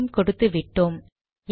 இதையும் கொடுத்து விட்டோம்